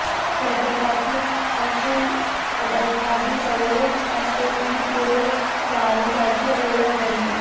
प्रत्येकाची अशी एखादी सवय असते जी पुढे जाऊन त्याची ओळख बनते